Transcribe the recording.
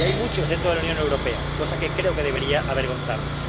Y hay muchos dentro de la Unión Europea, cosa que creo que debería avergonzarnos.